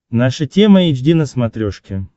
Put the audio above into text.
наша тема эйч ди на смотрешке